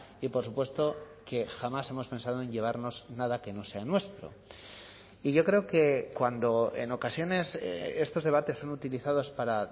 y por supuesto que jamás hemos pensado en llevarnos nada que no sea nuestro y yo creo que cuando en ocasiones estos debates son utilizados para